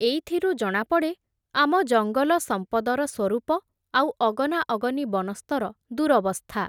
ଏଇଥିରୁ ଜଣାପଡ଼େ, ଆମ ଜଙ୍ଗଲ ସମ୍ପଦର ସ୍ୱରୂପ, ଆଉ ଅଗନାଅଗନି ବନସ୍ତର ଦୂରବସ୍ଥା ।